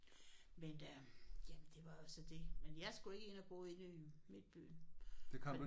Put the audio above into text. Men øh jamen det var så det men jeg skulle ikke ind og bo inde i midtbyen